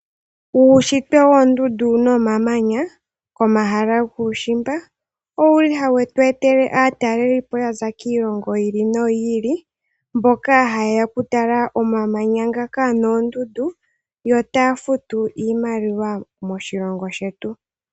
Uushitwe woondundu nomamanya komahala guushimba, owu li hawu tu ete aatalelipo ya za kiilongo yi ili no yi ili. Oha ye ya oku tala omamanya noondundu yo taa futu iimaliwa moshilongo shetu.